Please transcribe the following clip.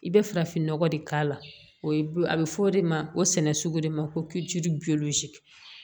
I bɛ farafin nɔgɔ de k'a la o ye a bɛ fɔ o de ma o sɛnɛ sugu de ma ko